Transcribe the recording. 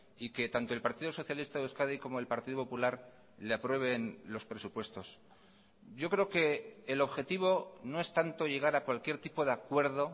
y que tanto el partido socialista de euskadi como el partido popular le aprueben los presupuestos yo creo que el objetivo no es tanto llegar a cualquier tipo de acuerdo